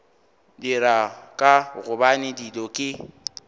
dira ka gobane dilo ke